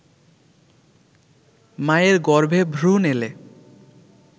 মায়ের গর্ভে ভ্রুণ এলে